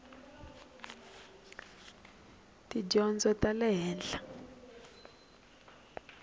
ta tidyondzo ta le henhla